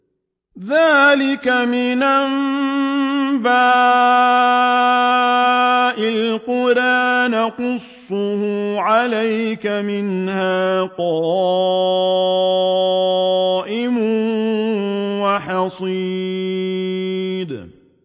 ذَٰلِكَ مِنْ أَنبَاءِ الْقُرَىٰ نَقُصُّهُ عَلَيْكَ ۖ مِنْهَا قَائِمٌ وَحَصِيدٌ